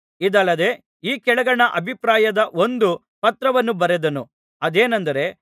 ಇದಲ್ಲದೆ ಈ ಕೆಳಗಣ ಅಭಿಪ್ರಾಯದ ಒಂದು ಪತ್ರವನ್ನು ಬರೆದನು ಅದೇನೆಂದರೆ